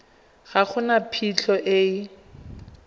ga go na phitlho e